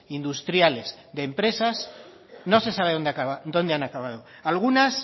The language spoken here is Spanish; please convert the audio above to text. industriales de empresas no se sabe dónde han acabado algunas